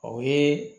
O ye